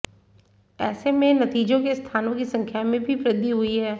ऐसे में नतीजों के स्थानों की संख्या में भी वृद्धि हुई है